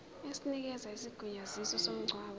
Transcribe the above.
esinikeza isigunyaziso somngcwabo